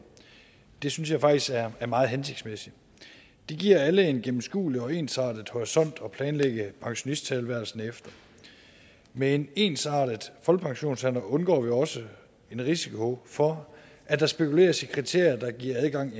det synes jeg faktisk er er meget hensigtsmæssigt det giver alle en gennemskuelig og ensartet horisont at planlægge pensionisttilværelsen efter med en ensartet folkepensionsalder undgår vi også en risiko for at der spekuleres i kriterier der giver adgang